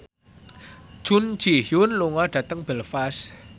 Jun Ji Hyun lunga dhateng Belfast